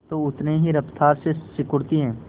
तो उतनी ही रफ्तार से सिकुड़ती है